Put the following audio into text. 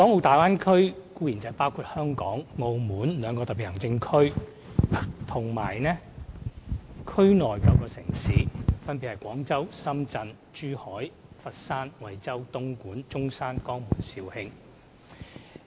大灣區包括香港、澳門兩個特別行政區和區內9個城市，分別為：廣州、深圳、珠海、佛山、惠州、東莞、中山、江門，以及肇慶。